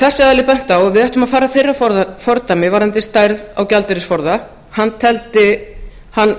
þessi aðili benti á að við ættum að fara að þeirra fordæmi varðandi stærð á gjaldeyrisforða þar var hann